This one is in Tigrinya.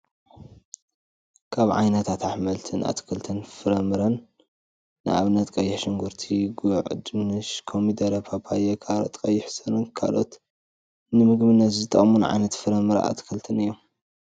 ካብ ዓይነታት ኣሕምትን ኣክልትን ፍረም ምረን ንኣብነት ቀይሕ ሽጉርቲ ፣ጉዕ፣ ድንሽ፣ ኮሚደረ፣ ፓፓየ ካሮት ፣ቀይሕ ሱር ካልኦትን ንምግብነት ዝጠቅሙና ዓይነታት ፍረ-ምረ ኣትክልትን እዩም።